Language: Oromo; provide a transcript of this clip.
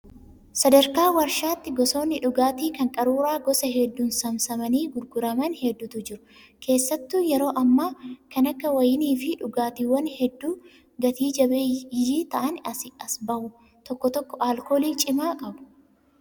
Sadarkaa waarshaatti gosoonni dhugaatii kan qaruuraa gosa hedduun saamsamanii gurguraman hedduutu jiru. Keessattuu yeroo ammaa kan akka wayinii fi dhugaatiiwwan hedduu gata jabeeyyii ta'an asii bahu. Tokko tokko alkoolii cimaa qabu.